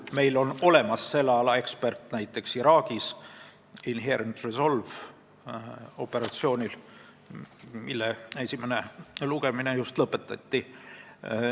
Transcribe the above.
Meil on näiteks selle ala ekspert olemas operatsioonil Inherent Resolve Iraagis, millega seotud eelnõu esimene lugemine just lõpetati.